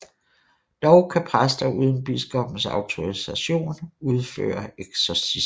Dog kan præster uden biskoppens autorisation udføre eksorcisme